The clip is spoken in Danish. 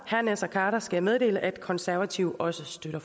herre naser khader skal jeg meddele at konservative også støtter